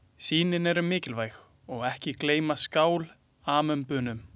Sýnin eru mikilvæg og ekki gleyma skál-amöbunum.